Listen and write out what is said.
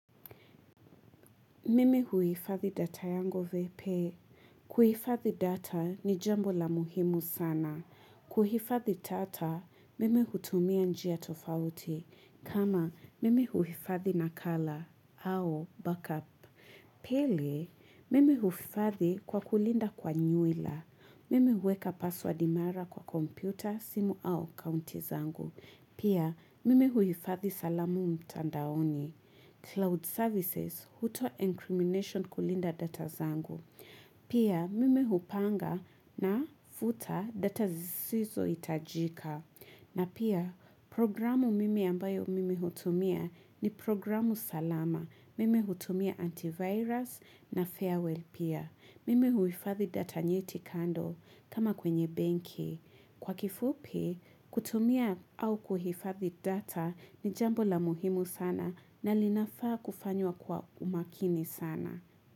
Mimi huifathi data yango vepe. Kuhifathi data ni jambo la muhimu sana. Kuhifathi data, mimi hutumia njia tofauti. Kama, mimi huifathi na kala au backup. Pili, mimi huifathi kwa kulinda kwa nywila. Mimi uweka password mara kwa kompyuta, simu au akaunti zangu. Pia, mimi huifathi salamu mtandaoni. Cloud services auto incrimination kulinda data zangu. Pia mimi hupanga na futa data zisizo itajika. Na pia programu mimi ambayo mimi utumia ni programu salama mimi utumia antivirus na farewell pia. Mimi huifathi data nyeti kando kama kwenye benki. Kwa kifupi, kutumia au kuhifathi data ni jambo la muhimu sana na linafaa kufanywa kwa umakini sana.